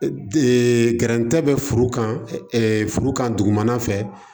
gɛrɛntɛ bɛ furu kan ɛ furu kan dugumana fɛ